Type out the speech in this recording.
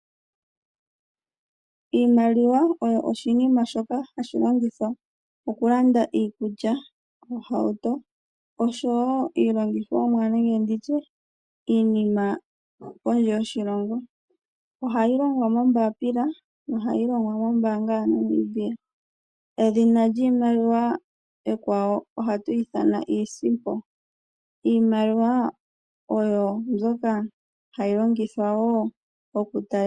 Iimaliwa oyo oshinima shoka hashi longithwa okulanda iikulya ,ohauto oshowo iilongithomwa nenge nditye iinima kondje yoshilongo, ohayi longwa moombapila nohayi longwa mombaanga yaNamibia. Edhina lyiimaliwa ekwawa ohatu ithana iisimpo, iimaliwa oyo mbyoka hayi longithwa wo okutalela po.